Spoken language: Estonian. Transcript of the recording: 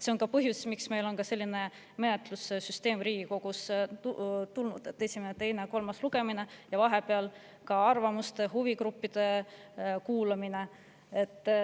See on ka põhjus, miks meil on Riigikogus selline menetlussüsteem, et on esimene, teine ja kolmas lugemine ning nende vahel ka arvamuste, huvigruppide kuulamine.